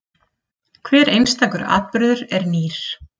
Hver einstakur atburður er nýr.